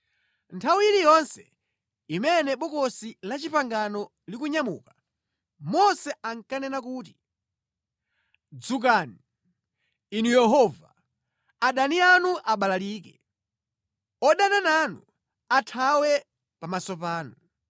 Nthawi iliyonse imene Bokosi la Chipangano likunyamuka, Mose ankanena kuti, “Dzukani, Inu Yehova! Adani anu abalalike; Odana nanu athawe pamaso panu.